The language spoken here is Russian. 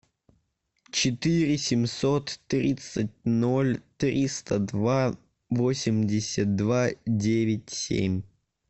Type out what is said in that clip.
четыре семьсот тридцать ноль триста два восемьдесят два девять семь